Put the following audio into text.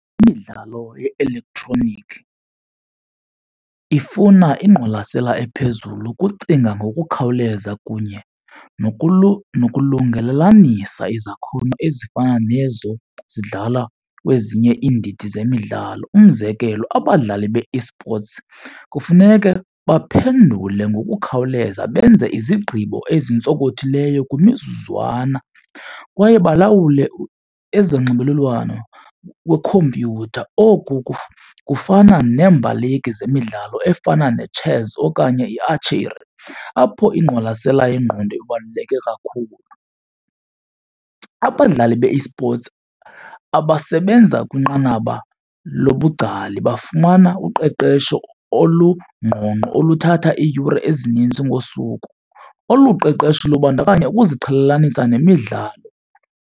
Imidlalo ye-elektroniki ifuna ingqwalasela ephezulu, ukucinga ngokukhawuleza kunye nokulungelalanisa izakhono ezifana nezo zidlala kwezinye iindidi zemidlalo. Umzekelo abadlali be-esports kufuneke baphendule ngokukhawuleza benze izigqibo ezintsonkothileyo kwimizuzwana kwaye balawule ezonxibelelwano kwikhompyutha. Oku kufana neembaleki zemidlalo efana ne-chess okanye i-archery apho ingqwalasela yengqondo ibaluleke kakhulu. Abadlali be-esports abasebenza kwinqanaba lobungcali bafumana uqeqesho olungqongqo oluthatha iiyure ezininzi ngosuku, olu qeqesho lubandakanya ukuziqhelelanisa nemidlalo.